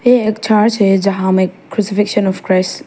ये एक चर्च है जहां में ऑफ क्रिस --